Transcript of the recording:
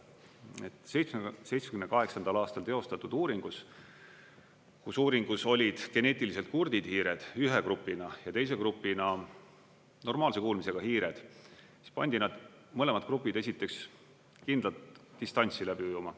1978. aastal teostatud uuringus olid geneetiliselt kurdid hiired ühe grupina ja teise grupina normaalse kuulmisega hiired, siis pandi need mõlemad grupid esiteks kindlat distantsi läbi ujuma.